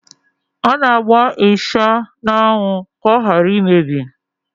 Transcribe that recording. A na-agba ịsha n'anwụ ka ọ hara imebi.